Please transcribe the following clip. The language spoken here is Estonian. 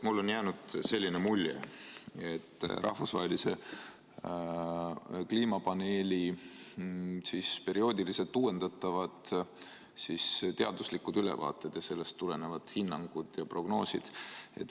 Ma küsin rahvusvahelise kliimapaneeli perioodiliselt uuendatavate teaduslike ülevaadete ja nendest tulenevate hinnangute ja prognooside kohta.